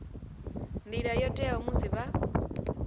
nḓila yo teaho musi vha